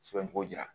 Sɛbɛn togo jira